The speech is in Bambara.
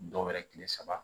Dɔw wɛrɛ tile saba